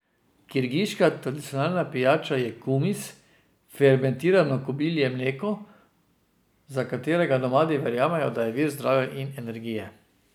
Kirgiška tradicionalna pijača je kumis, fermentirano kobilje mleko, za katerega nomadi verjamejo, da je vir zdravja in energije.